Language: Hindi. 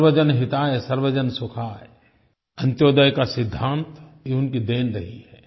सर्वजन हितायसर्वजन सुखाय अन्त्योदय का सिद्धांत ये उनकी देन रही है